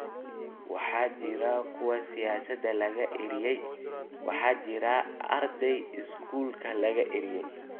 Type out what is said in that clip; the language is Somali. Waxaa jira kuwa siyaasad laga eryay, waxaa jira arday iskuulkii laga eryay.